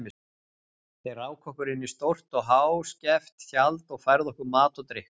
Þeir ráku okkur inn í stórt og háskeft tjald og færðu okkur mat og drykk.